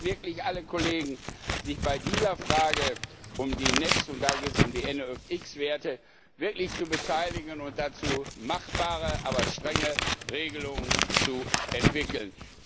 lassen. Ich bitte alle Kollegen, sich bei dieser Frage um die NEC, und da geht es um die NOX Werte, wirklich zu beteiligen und dazu machbare, aber strenge Regelungen zu entwickeln.